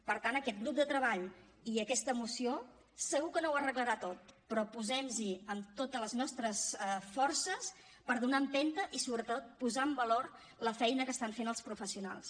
per tant aquest grup de treball i aquesta moció segur que no ho arreglarà tot però posem nos hi amb totes les nostres forces per donar empenta i sobretot posar en valor la feina que estan fent els professionals